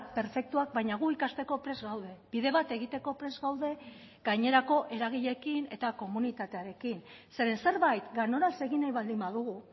perfektuak baina gu ikasteko prest gaude bide bat egiteko prest gaude gainerako eragileekin eta komunitatearekin zeren zerbait ganoraz egin nahi baldin badugu